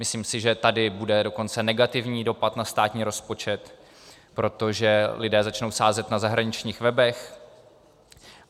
Myslím si, že tady bude dokonce negativní dopad na státní rozpočet, protože lidé začnou sázet na zahraničních webech.